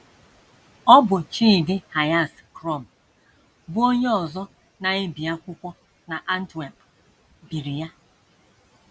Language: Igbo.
Ọ bụ Chidihias Crom, bụ́ onye ọzọ na - ebi akwụkwọ n’Antwerp, biri ya.